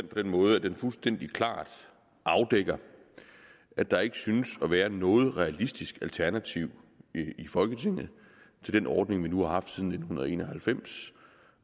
på den måde at den fuldstændig klart afdækker at der ikke synes at være noget realistisk alternativ i folketinget til den ordning vi nu har haft siden nitten en og halvfems